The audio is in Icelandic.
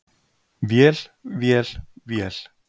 Vél, vél, vél.